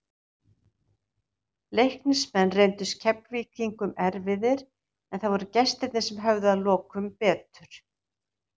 Leiknismenn reyndust Keflvíkingum erfiðir, en það voru gestirnir sem höfðu að lokum betur.